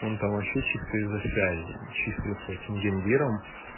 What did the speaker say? он там вообще чисто из-за связей числится эти гендиром